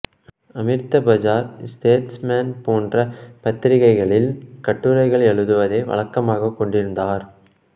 Amrita Bazar statesman போன்ற பத்திரிக்கைகளில் கட்டுரைகள் எழுதுவதை வழக்கமாகக் கொண்டிருந்தார்